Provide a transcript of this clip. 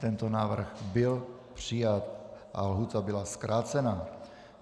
Tento návrh byl přijat a lhůta byla zkrácena.